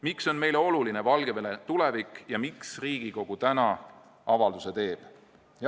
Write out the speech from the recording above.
Miks on meile oluline Valgevene tulevik ja miks Riigikogu täna avalduse teeb?